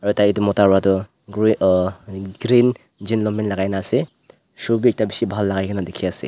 aru Tai edu mota pratoh gre ah green jean long pant lakai na ase shoe bi ekta bishi bhal lakaikaena dikhiase.